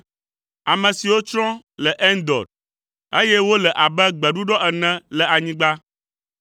ame siwo tsrɔ̃ le Endor, eye wole abe gbeɖuɖɔ ene le anyigba.